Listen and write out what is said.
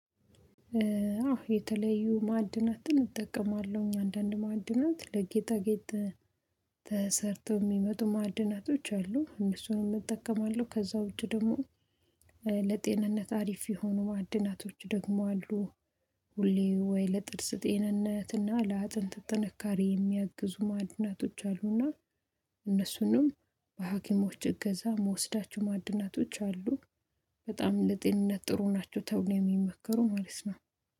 አዎ የተለዩ ማዐድናትን እጠቀማለሁኝ አንዳንድ ማዐድናት ለጌጣጌጥ ተሰርተው የሚመጡ ማዐድናቶች አሉ እነሱንም እጠቀማለሁ ከዛ ውጪ ደግሞ ለጤንነት አሪፍ የሆኑ ማዐድናቶች ደግሞ አሉ። ሁሌ ወይ ለጥርስ ጤንነት እና ለአጥንት ጥንካሬ የሚያግዙ ማዐድናቶች አሉ እና እነሱንም በሀኪሞች እገዛ ምወስዳቸው ማዐድናቶች አሉ። በጣም ለጤንነት ጥሩ ናቸው ተብለው የሚመከሩ ማለት ነው።